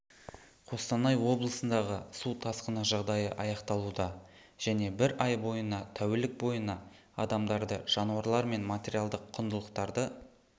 қостанай облысындағы су тасқыны жағдайы аяқталуда және бір ай бойына тәулік бойына адамдарды жануарлар мен материалдық құндылықтарды